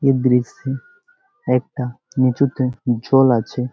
এ দৃশ্যে একটা নিচুতে জল আছে ।